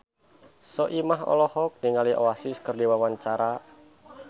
Soimah olohok ningali Oasis keur diwawancara